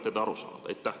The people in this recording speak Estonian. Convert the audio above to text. Olete te aru saanud?